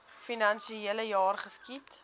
finansiele jaar geskied